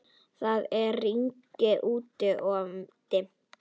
Það er rigning úti-og dimmt.